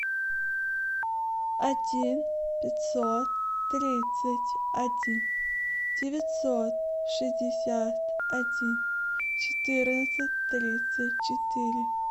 один пятьсот тридцать один девятьсот шестьдесят один четырнадцать тридцать четыре